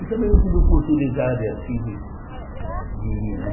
E também não tive oportunidade assim de de ir, né?